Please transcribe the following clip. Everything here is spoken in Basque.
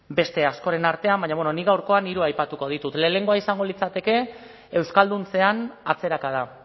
beste askoren artean baina nik gaurkoan hiru aipatuko ditut lehenengoa izango litzateke euskalduntzean atzerakada